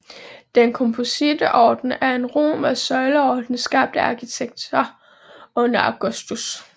Den kompositte orden er en romersk søjleorden skabt af arkitekter under Augustus